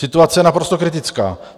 Situace je naprosto kritická.